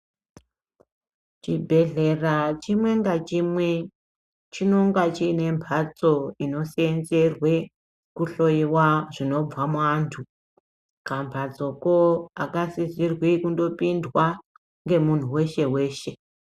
Chibhedhlera chimwe ngachimwe, chinonga chiyine mbatso inoseenzerwe kuhloyiwa zvinobva muantu, kambatsoko akasisirwi kundopindwa ngemuntu weshe-weshe.